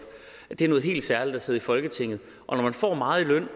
det er noget helt særligt at sidde i folketinget og når man får meget i løn